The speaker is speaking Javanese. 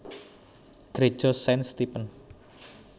Greja Saint Stephen